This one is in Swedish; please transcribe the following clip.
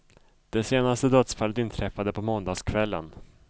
De senaste dödsfallet inträffade på måndagskvällen.